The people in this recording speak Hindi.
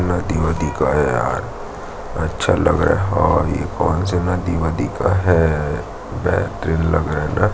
नदी-वदी का है यार अच्छा लग रहा और ये कौन से नदी वदी का है बेहतरीन लग रहा है न--